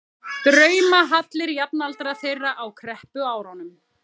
draumahallir jafnaldra þeirra á kreppuárunum.